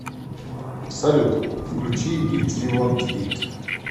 салют включи итзи вонт ит